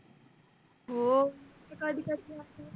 हो ते कधि कधि